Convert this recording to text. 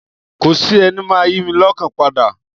Kò sí ẹni máa yi lọ́kàn padà.